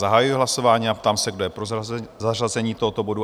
Zahajuji hlasování a ptám se, kdo je pro zařazení tohoto bodu?